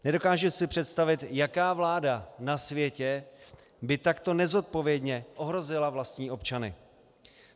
Nedokážu si představit, jaká vláda na světě by takto nezodpovědně ohrozila vlastní občany.